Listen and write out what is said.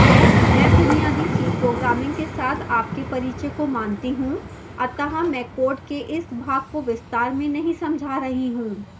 मैं बुनियादी c programming के साथ आपके परिचय को मानती हूँ